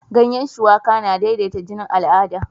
Ganyan shuwaka na daidaita jinin al'ada